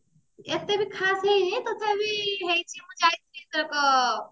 ଏତେ ବି ଖାସ ହେଇନି ତଥାବି ମୁଁ ଯାଇଥିଲି ଏଥରକ